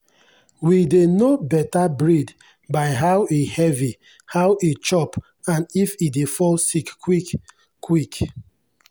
we dey know better breed by how e heavy how e chop and if e dey fall sick quick. quick.